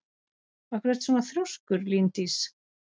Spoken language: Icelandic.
Af hverju ertu svona þrjóskur, Líndís?